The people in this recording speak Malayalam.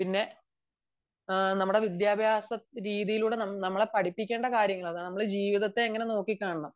പിന്നെ നമ്മുടെ വിദ്യാഭ്യാസ രീതിയിലൂടെ നമ്മൾ പഠിപ്പിക്കേണ്ട കാര്യങ്ങൾ നമ്മൾ ജീവിതത്തെ എങ്ങനെ നോക്കികാണണം